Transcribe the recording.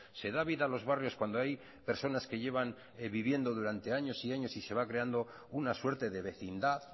se da vida a los barrios cuando hay personas que llevan viviendo durante años y años y se va creando una suerte de vecindad